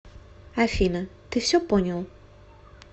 афина ты все понял